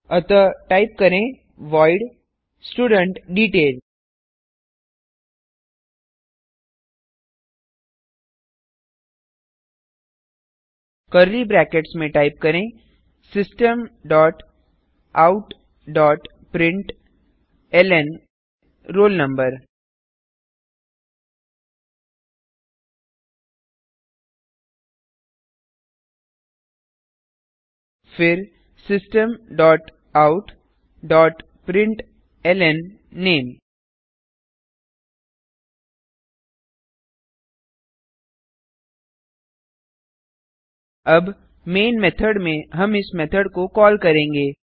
अतः टाइप करें void studentDetail curly brackets में टाइप करें system dot out dot println roll number फिर system dot out dot println name अब main method में हम इस मेथड को कॉल करेंगे